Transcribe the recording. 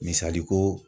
Misali ko